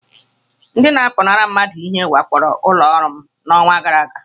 Ndị na-apụnara mmadụ ihe wakporo ụlọ ọrụ m n'ọnwa gara aga.